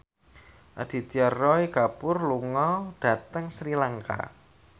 Aditya Roy Kapoor lunga dhateng Sri Lanka